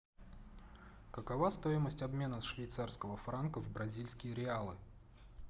какова стоимость обмена швейцарского франка в бразильские реалы